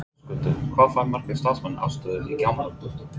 Höskuldur, hvað fá margir starfsmenn aðstöðu í gámunum?